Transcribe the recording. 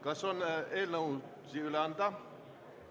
Kas on eelnõusid üle anda?